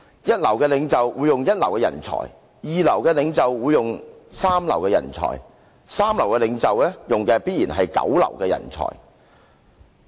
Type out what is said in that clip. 一流的領袖會用一流的人才；二流的領袖會用三流的人才；三流的領袖，用的必然是九流的人才。